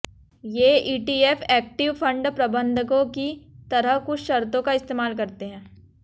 ये ETF active fund प्रबंधकों की तरह कुछ शर्तों का इस्तेमाल करते हैं